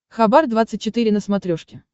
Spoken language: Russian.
хабар двадцать четыре на смотрешке